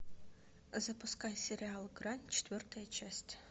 запускай сериал грань четвертая часть